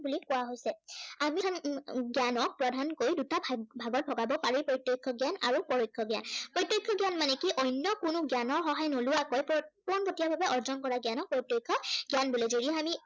বুলি কোৱা হৈছে। জ্ঞানক প্ৰধানকৈ দুটা ভাগ, ভাগত ভগাব পাৰি। প্ৰত্য়ক্ষ জ্ঞান আৰু পৰোক্ষ জ্ঞান। প্ৰত্য়ক্ষ জ্ঞান মানে কি অন্য় কোনো জ্ঞানৰ সহায় নোলোৱাকৈ পোনপটীয়া ভাৱে অধ্য়য়ন কৰা জ্ঞানক প্ৰত্য়ক্ষ জ্ঞান বুলি কোৱা হয়।